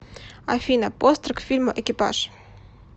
афина постер к фильму экипаж